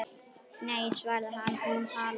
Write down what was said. Nei svaraði hann, hún talar